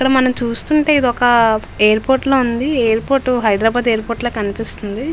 ఇక్కడ మనము చుస్ట్టు ఉనతే ఎయిర్ పోర్ట్ లాగా ఉనాది. అండ్ అది హైదరాబాద్ ఎయిర్ పోర్ట్ లాగా ఉనాది.